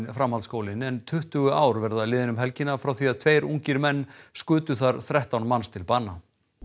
framhaldsskólinn en tuttugu ár verða liðin um helgina frá því að tveir ungir menn skutu þar þrettán manns til bana